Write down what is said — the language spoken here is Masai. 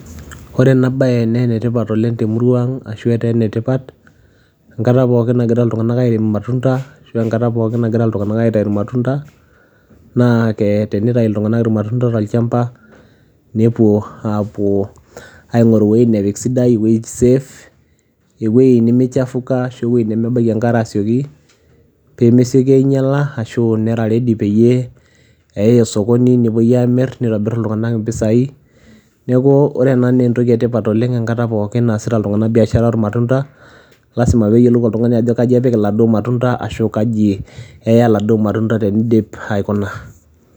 Ore ena baye nee ene tipat oleng' te murua aang' ashu etaa ene tipat enkata pookin nagira iltung'anak airem irmatunda ashu enkata pookin nagira iltung'anak aitayu irmatunda naa ke tenitayu iltung'anak irmatunda tolchamba, nepuo aapuo aing'oru iwuetin nepik sidai ewuei save, ewuei nemichafuka ashu ewuei nemebaiki enkare asioki pee mesioki ainyala ashu nera ready peyie eyai osokoni nepuoi aamir nitobir iltung'anak impisai. Neeku ore ena nee entoki e tipat oleng' enkata pookin naasita iltung'anak biashara oormatunda, lazima peeyiolou oltung'ani ajo kaji apik iladuo matunda ashu kaji eya iladuo matunda teniidip aikuna.